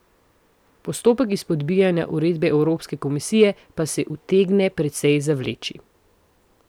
Postopek izpodbijanja uredbe Evropske komisije pa se utegne precej zavleči.